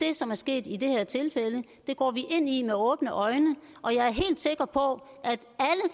det som er sket i det her tilfælde det går vi ind i med åbne øjne og jeg er helt sikker på